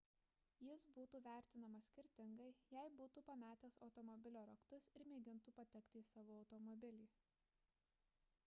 jis būtų vertinamas skirtingai jei būtų pametęs automobilio raktus ir mėgintų patekti į savo automobilį